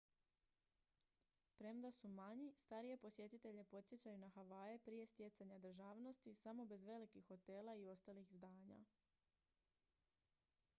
premda su manji starije posjetitelje podsjećaju na havaje prije stjecanja državnosti samo bez velikih hotela i ostalih zdanja